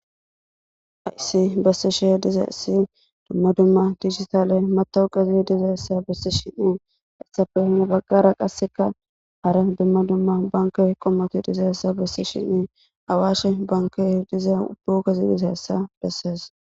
haysi bassi she diza issi dumma dumma digitale matawu qezi dizaessa bissi shinnee essafehome baggara qasseka hara dumma dumma banke qommotu dizaessa bissi shinne awaashe banke diza ubbugazi dizassa dessees